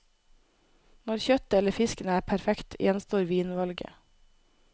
Når kjøttet eller fisken er perfekt, gjenstår vinvalget.